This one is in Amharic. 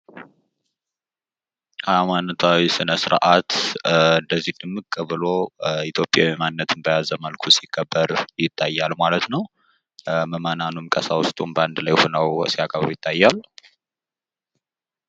ሀይማኖታዊ ስነስርዓት እንደዚህ ድምቅ ብሎ ኢትዮጵያዊ ማንነቱን በያዘ መልኩ ሲከበር ይታያል ማለት ነው ። ምዕመናኑም ቀሳውስቱም በአንድ ላይ ሁነው ሲያከብሩ ይታያል ።